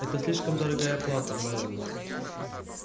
это слишком дорогая плата мелани